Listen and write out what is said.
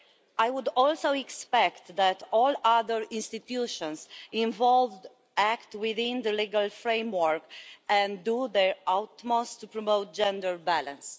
I would also expect all the other institutions involved to act within the legal framework and to do their utmost to promote gender balance.